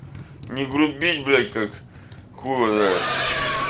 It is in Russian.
не грубить блять как хуй его знает